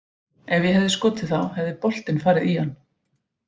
Ef ég hefði skotið þá hefði boltinn farið í hann.